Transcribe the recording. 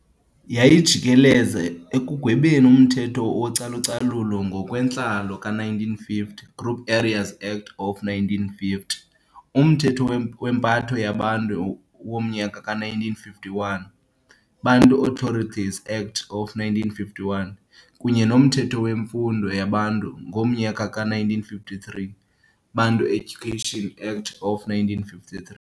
Yayijikeleza ekugwebeni umthetho wocalucalulo ngokwentlalo ka-1950, Group areas Act of 1950, umthetho wempatho yeBantu womnyaka ka 1951, Bantu Authorities Act of 1951, kunye nomthetho wemfundo yeBantu ngomnyaka ka 1953, Bantu Education Act of 1953.